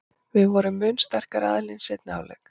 Við vorum mun sterkari aðilinn í seinni hálfleik.